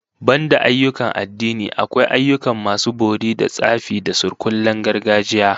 Banda ayyukan addini, akwai ayyukan masu bori da tsafi da surkullen gargajiya